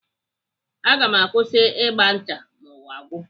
Aga m akwụsị ịgba ncha ma ụwa gwụ.